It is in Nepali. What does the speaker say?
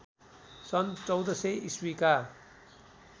सन्‌ १४०० ईस्वीका